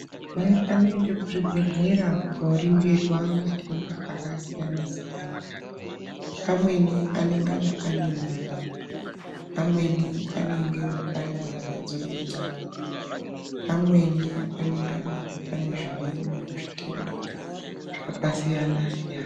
Vaya vanoende kuzvibhedhlera kooringirwa matenda, akasiyana-siyana. Amweni anengana ane mimba. Amweni anengewo marwadzo enyama, amweni anenganawo ane zvimweniwo zvitenda, zvakasiyana-siyana .